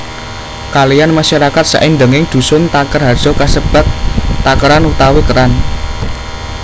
Kaliyan masyarakat saindenging dusun Takerharjo kasebat Takeran utawi Keran